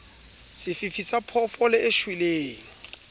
sefifi sa phoofolo e shweleng